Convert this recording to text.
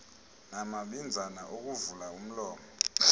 namabinzana okuvula umlomo